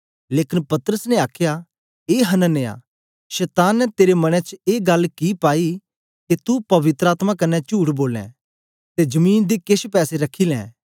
लेकन पतरस ने आखया ए हनन्याह शतान ने तेरे मन च ए गल्ल कि पाई ऐ के तू पवित्र आत्मा कन्ने चुठ बोले ते जमीन दे केछ पैसे रखी ले